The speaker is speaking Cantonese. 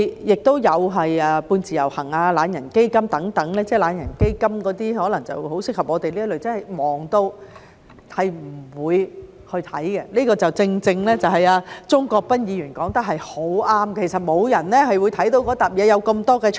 亦有"半自由行"、"懶人基金"等——"懶人基金"可能很適合我們這類真的忙得不會去看的人——鍾國斌議員說得很對，其實沒有人會看那疊文件，有那麼多 chart。